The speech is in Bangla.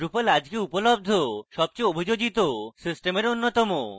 drupal আজকে উপলব্ধ সবচেয়ে অভিযোজিত systems অন্যতম